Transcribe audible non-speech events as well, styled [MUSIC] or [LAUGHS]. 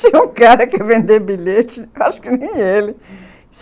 [LAUGHS] Tinha um cara que ia [LAUGHS] vender bilhete, acho que nem ele.